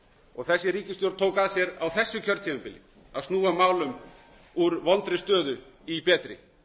og þessi ríkisstjórn tók að sér á þessu kjörtímabili að snúa málum úr vondri stöðu í betri